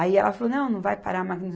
Aí ela falou, não, não vai parar a máquina